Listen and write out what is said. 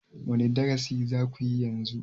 wane darasi za ku yi yanzu?